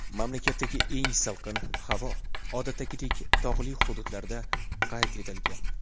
Mamlakatdagi eng salqin havo, odatdagidek, tog‘li hududlarda qayd etilgan.